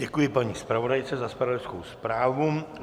Děkuji paní zpravodajce za zpravodajkou zprávu.